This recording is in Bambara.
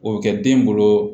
O bɛ kɛ den bolo